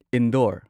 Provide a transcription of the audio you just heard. Indore